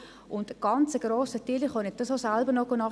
Sie können es selber nachlesen: